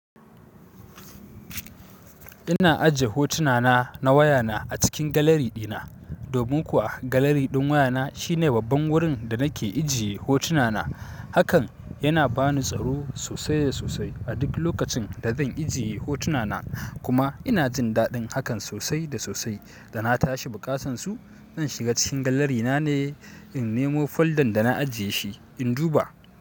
Ina ajiye hotuna na na waya na a cikin gallery dina. Domin kuwa gallery ɗin waya na shine babban wurin da nake ijiye hotuna na. Hakan yana bani tsaro sosai da sosai a duk lokacin da zan ijiye hotuna na. Kuma ina jin daɗin hakan sosai da sosai da na tashi buƙatan su, zan shiga cikin gallery na ne, in nemo folder da na ajiye shi, in duba.